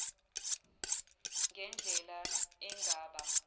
ngen dlela engaba